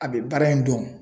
A bɛ baara in dɔn